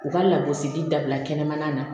U ka lagosili dabila kɛnɛmana na